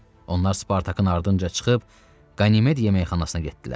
Onlar Spartakın ardınca çıxıb Qanimed yeməkxanasına getdilər.